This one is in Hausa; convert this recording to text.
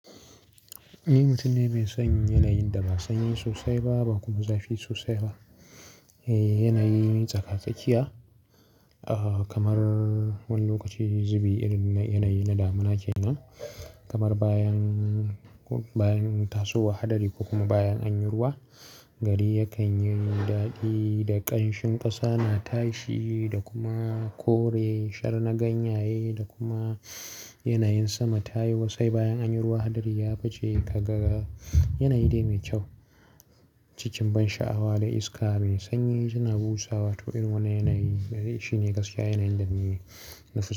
Ni mutum ne mai son yanayin da ba sanyi sosai ba, ba kuma zafi sosai ba. Eh, yanayi tsaka-tsakiya, ah, kamar wani lokaci zubi irin yanayi na damuna ke nan. Kamar bayan, bayan tasowa hadari ko kuma bayan anyi ruwa, gari yakan yi daɗi da ƙanshin ƙasa na tashi da kuma kore shar na ganyaye da kuma yanayin sama tayi wasai bayan anyi ruwa. Hadari ya fice ka ga yanayi dai mai kyau. Cikin ban sha'awa da iska mai sanyi tana busawa to irin wannan yanayi gare shine gaskiya yanayin dani nake so.